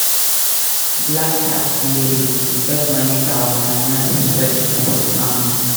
Black tax dey real; we gats manage our finances well to support family.